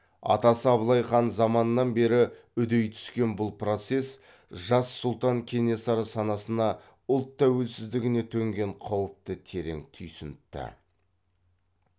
атасы абылай хан заманынан бері үдей түскен бұл процесс жас сұлтан кенесары санасына ұлт тәуелсіздігіне төнген қауіпті терең түйсінтті